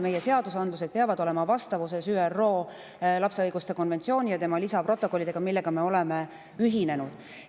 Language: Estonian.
Meie seadusandlus peab olema vastavuses ÜRO lapse õiguste konventsiooni ja selle lisaprotokollidega, millega me oleme ühinenud.